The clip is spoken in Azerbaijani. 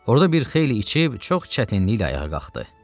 Orda bir xeyli içib çox çətinliklə ayağa qalxdı.